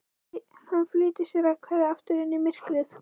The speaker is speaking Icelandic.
Hann flýtir sér að hverfa aftur inn í myrkrið.